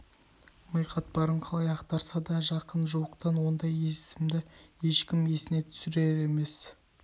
ми қатпарын қалай ақтарса да жақын-жуықтан ондай есімді ешкім есіне түсер емес